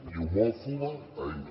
i d’homòfoba ahir